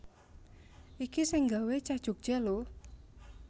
Iki sing nggawe cah Jogja lho